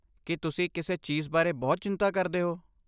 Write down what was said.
ਕੀ ਤੁਸੀਂ ਕਿਸੇ ਚੀਜ਼ ਬਾਰੇ ਬਹੁਤ ਚਿੰਤਾ ਕਰਦੇ ਹੋ?